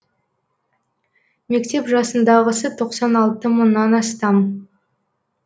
мектеп жасындағысы тоқсан алты мыңнан астам